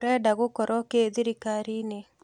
Ũrenda gũkoro kĩ thirikari-inĩ